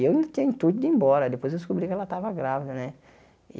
E eu tinha intuito de ir embora, depois eu descobri que ela estava grávida né.